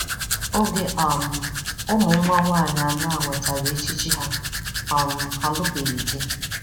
Oge um ụmụnwa nwanyị anọ a nwetara ẹchichi ha, um ha alụbeghị di.